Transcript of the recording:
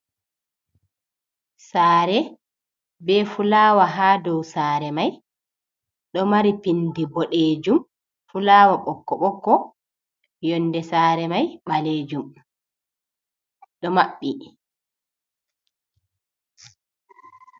Saare be fulawa, haa dow saare may ɗo mari pinndi boɗeejum, fulawa ɓokko ɓokko, yonnde saare may ɓaleejum, ɗo maɓɓi.